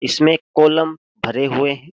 इसमें कॉलम भरे हुए हैं।